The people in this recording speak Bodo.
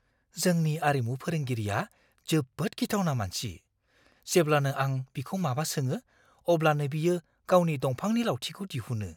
जोंनि आरिमु फोरोंगिरिया जोबोद गिथावना मानसि। जेब्लानो आं बिखौ माबा सोङो, अब्लानो बियो गावनि दंफांनि लावथिखौ दिहुनो।